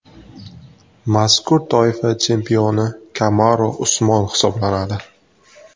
Mazkur toifa chempioni Kamaru Usmon hisoblanadi.